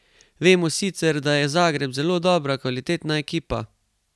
Vemo sicer, da je Zagreb zelo dobra, kvalitetna ekipa.